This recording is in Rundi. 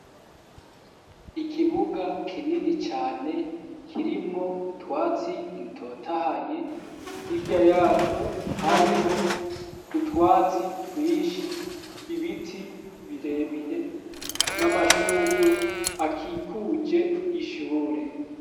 Ikibuga kinini cane kirimwo utwatsi dutotahaye ,hirya yaco hariho utwatsi twinshi, ibiti birebire n'amashurwe akikuje ishure.